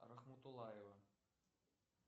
рахматуллаева